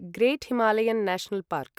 great Himalayan national park